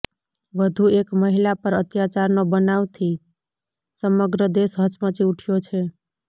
વધુ એક મહિલા પર અત્યાચારનો બનાવથી સમગ્ર દેશ હચમચી ઉઠ્યો છે